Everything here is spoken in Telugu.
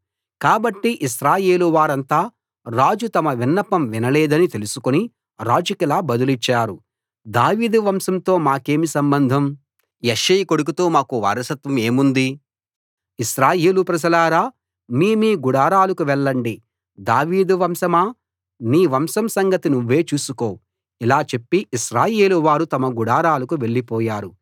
కాబట్టి ఇశ్రాయేలు వారంతా రాజు తమ విన్నపం వినలేదని తెలుసుకుని రాజుకిలా బదులిచ్చారు దావీదు వంశంతో మాకేం సంబంధం యెష్షయి కొడుకుతో మాకు వారసత్వం ఏముంది ఇశ్రాయేలు ప్రజలారా మీ మీ గుడారాలకు వెళ్ళండి దావీదు వంశమా నీ వంశం సంగతి నువ్వే చూసుకో ఇలా చెప్పి ఇశ్రాయేలువారు తమ గుడారాలకు వెళ్లిపోయారు